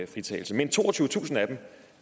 fritagelse men toogtyvetusind af dem